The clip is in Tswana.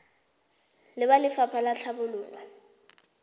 le ba lefapha la tlhabololo